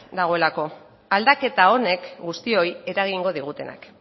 dagoelako aldaketa honek guztioi eragingo digutenak